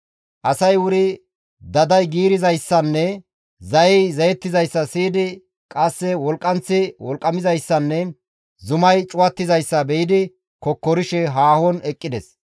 Asay wuri daday giirizayssanne zayey zayetizayssa siyidi qasse wolqqanththi wolqqamizayssanne zumay cuwattizayssa be7idi kokkorishe haahon eqqides.